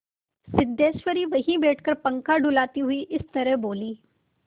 सिद्धेश्वरी वहीं बैठकर पंखा डुलाती हुई इस तरह बोली